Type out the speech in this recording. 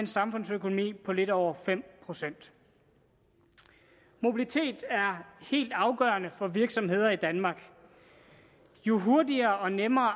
samfundsøkonomien på lidt over fem procent mobilitet er helt afgørende for virksomheder i danmark jo hurtigere og nemmere